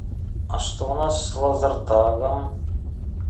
а что у нас с лазертагом